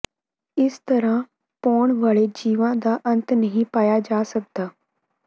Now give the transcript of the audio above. ਇਸ ਤਰ੍ਹਾਂ ਭੌਣ ਵਾਲੇ ਜੀਵਾਂ ਦਾ ਅੰਤ ਨਹੀਂ ਪਾਇਆ ਜਾ ਸਕਦਾ